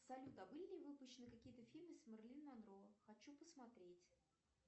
салют а были ли выпущены какие то фильмы с с мэрилин монро хочу посмотреть